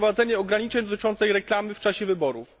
za wprowadzenie ograniczeń dotyczących reklamy w czasie wyborów.